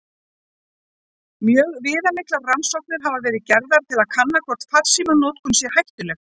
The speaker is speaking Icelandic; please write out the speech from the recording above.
Mjög viðamiklar rannsóknir hafa verið gerðar til að kanna hvort farsímanotkun sé hættuleg.